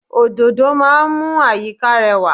Òdòdó máa ń mú àyíká rẹwà.